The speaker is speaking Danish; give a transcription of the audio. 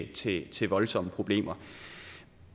til til voldsomme problemer